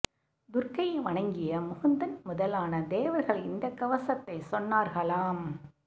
துர்க்கையை வணங்கிய முகுந்தன் முதலான தேவர்கள் இந்தக் கவசத்தைச் சொன்னார்களாம்